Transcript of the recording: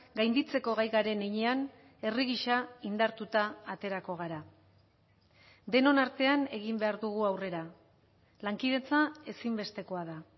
gainditzeko gai garen heinean herri gisa indartuta aterako gara denon artean egin behar dugu aurrera lankidetza ezinbestekoa da